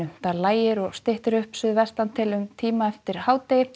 lægir og styttir upp suðvestantil um tíma eftir hádegi